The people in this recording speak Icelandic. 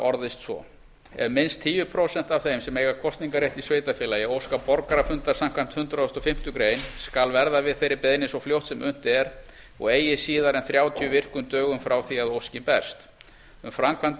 orðast svo ef minnst tíu prósent af þeim sem eiga kosningarrétt í sveitarfélagi óska borgarafundar samkvæmt hundrað og fimmtu grein skal verða við þeirri beiðni svo fljótt sem unnt er og eigi síðar en þrjátíu virkum dögum frá því að óskin berst um framkvæmd